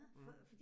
Mh